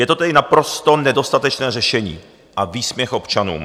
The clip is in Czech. Je to tedy naprosto nedostatečné řešení a výsměch občanům.